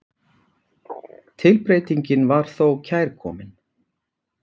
Tilbreytingin var þó kærkomin.